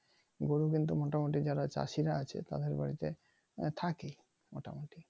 গরু কিন্তু মোটামুটি যারা চাষিরা আছে তাদের বাড়িতে থাকেই মোটামোটি।